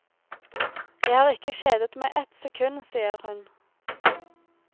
Jeg har ikke kjedet meg ett sekund, sier hun.